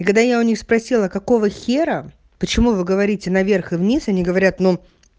и когда я у них спросила какого хера почему вы говорите на вверх и вниз они говорят но